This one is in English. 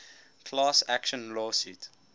class action lawsuit